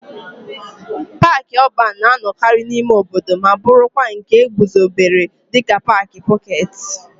Paaki ọban na-anọkarị n'ime obodo ma bụrụkwa nke e guzobere dịka paaki pọketi.